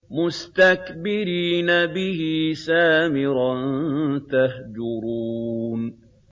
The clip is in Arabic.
مُسْتَكْبِرِينَ بِهِ سَامِرًا تَهْجُرُونَ